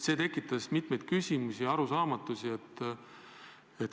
See tekitas mitmeid küsimusi ja arusaamatusi.